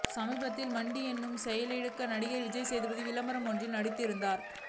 சமீபத்தில் மண்டி என்ற செயலிக்காக நடிகர் விஜய்சேதுபதி விளம்பரம் ஒன்றில் நடித்திருந்தார்